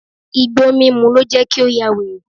Igbó mímú ló jẹ́ kí ó yà wèrè.